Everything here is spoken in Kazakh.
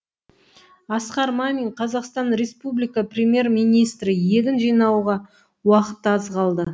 асқар мамин қазақстан республика премьер министрі егін жинауға уақыт аз қалды